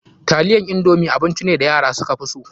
Taliyan indomi abinci ne da yara suka fi so.